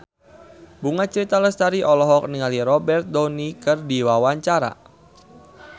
Bunga Citra Lestari olohok ningali Robert Downey keur diwawancara